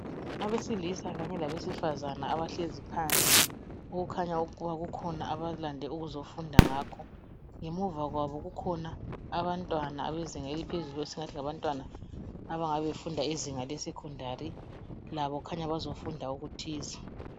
Abesilisa kanye labesifazane abahlezi phansi okukhanya ukuba kukhona abalande ukuzofunda ngakho. Ngemuva kwabo kukhona abantwana abezinga eliphezulu esingathi ngabantwana abangabe befunda izinga le secondary, labo khanya bazofunda okuthize.